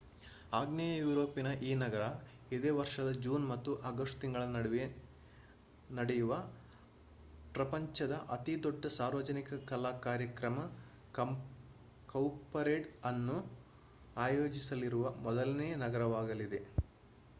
ಆಗ್ನೇಯ ಯೂರೋಪಿನ ಈ ನಗರ ಇದೇ ವರ್ಷದ ಜೂನ್ ಮತ್ತು ಆಗಸ್ಟ್ ತಿಂಗಳ ನಡುವೆ ನಡೆಯುವ ಪ್ರಪಂಚದ ಅತಿ ದೊಡ್ಡ ಸಾರ್ವಜನಿಕ ಕಲಾ ಕಾರ್ಯಕ್ರಮ ಕೌಪರೇಡ್ ಅನ್ನು ಅಯೋಜಿಸಲಿರುವ ಮೊದಲನೇ ನಗರವಾಗಲಿದೆ